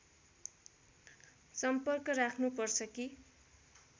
सम्पर्क राख्नु पर्छ कि